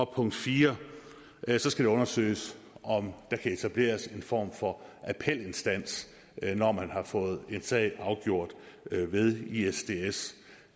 punkt 4 det skal undersøges om der kan etableres en form for appelinstans når man har fået en sag afgjort ved isds